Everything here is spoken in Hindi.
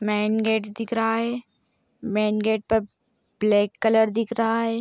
मेन गेट दिख रहा है। मेन गेट पर ब्लैक कलर दिख रहा है।